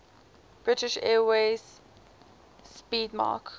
british airways 'speedmarque